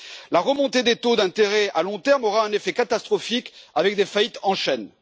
La remontée des taux d'intérêt à long terme aura un effet catastrophique, avec des faillites en chaîne.